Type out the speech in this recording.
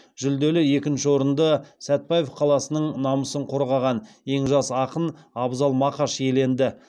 жүлделі екінші орынды сәтбаев қаласының намысын қорғаған ең жас ақын абзал мақаш иеленді